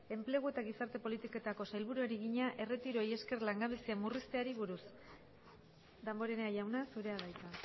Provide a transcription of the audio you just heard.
enplegu eta gizarte politiketako sailburuari egina erretiroei esker langabezia murrizteari buruz damborenea jauna zurea da hitza